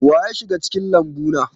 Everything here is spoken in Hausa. Wa ya shiga cikin lambu na?